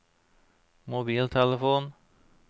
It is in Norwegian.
mobiltelefon